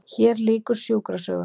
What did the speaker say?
HÉR LÝKUR SJÚKRASÖGUM